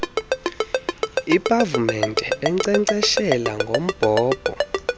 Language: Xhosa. iipavumente enkcenkceshela ngombhobho